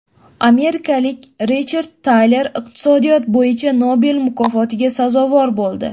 Amerikalik Richard Taler iqtisodiyot bo‘yicha Nobel mukofotiga sazovor bo‘ldi.